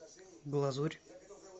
глазурь